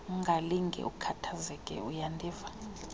ungakulinge ukhathazeke uyandiva